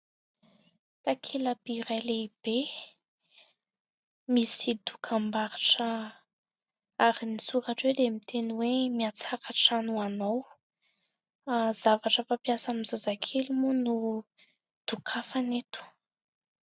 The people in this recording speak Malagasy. Takela-by iray lehibe misy dokam-barotra ary ny soratra hoe dia miteny hoe : "mihatsara hatrany ho anao" zavatra fampiasa amin'ny zazakely moa no dokafany eto.